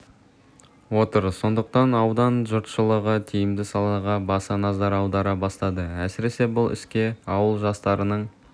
отыр сондықтан аудан жұртшылығы тиімді салаға баса назар аудара бастады әсіресе бұл іске ауыл жастарының